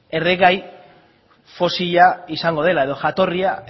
erregai fosila izango dela edo jatorria